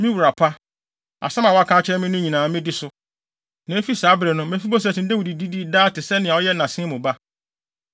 “Me wura pa, asɛm a woaka akyerɛ me no nyinaa, medi so.” Na efi saa bere no, Mefiboset ne Dawid didii daa te sɛnea ɔyɛ nʼasen mu ba.